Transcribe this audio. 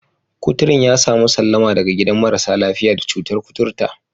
kuturun ya sami sallama daga gidan marasa lafiya da cutar koturta.